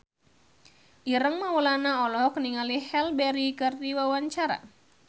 Ireng Maulana olohok ningali Halle Berry keur diwawancara